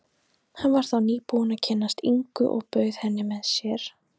Hann var þá nýbúinn að kynnast Ingu og bauð henni með sér.